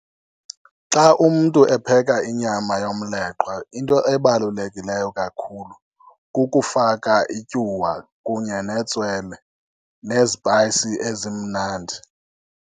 Xa umntu epheka inyama yomleqwa into ebalulekileyo kakhulu, kukufaka ityuwa kunye netswele nezipayisi ezimnandi.